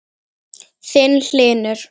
Þinn, Hlynur.